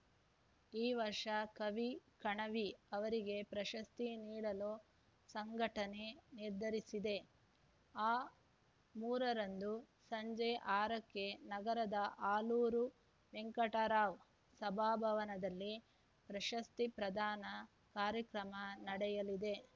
ಈ ವರ್ಷ ಕವಿ ಕಣವಿ ಅವರಿಗೆ ಪ್ರಶಸ್ತಿ ನೀಡಲು ಸಂಘಟನೆ ನಿರ್ಧರಿಸಿದೆ ಆ ಮೂರರಂದು ಸಂಜೆ ಆರಕ್ಕೆ ನಗರದ ಆಲೂರು ವೆಂಕಟರಾವ್‌ ಸಭಾಭವನದಲ್ಲಿ ಪ್ರಶಸ್ತಿ ಪ್ರದಾನ ಕಾರ್ಯಕ್ರಮ ನಡೆಯಲಿದೆ